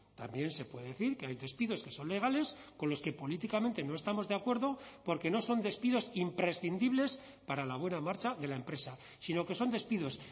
también se puede decir que hay despidos que son legales con los que políticamente no estamos de acuerdo porque no son despidos imprescindibles para la buena marcha de la empresa sino que son despidos